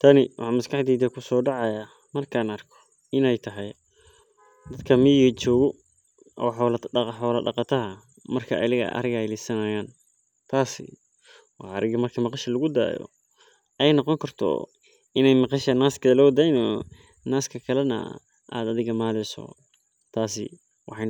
Tani waxaa maskaxdeyda kusodacaya marki an arko dadka miga oo xolaha lidayan tasi waxee noqoni kartaa marki cunuga lagu dayo midnah athiga aya maleysa marka waa